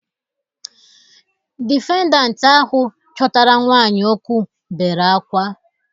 Difendant ahụ chọtara nwaanyị okwụ bere akwa.